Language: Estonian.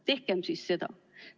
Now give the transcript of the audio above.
Tehkem siis seda.